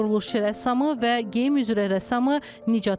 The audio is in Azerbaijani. Quruluşçu rəssamı və geyim üzrə rəssamı Nicat Məmmədov.